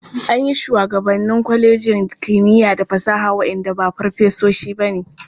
An yi shugabanni kwalejin kimiya da fasaha waɗanda ba farfesoshi ba ne.